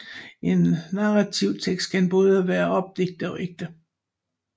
En narrativ tekst kan både være opdigtet og ægte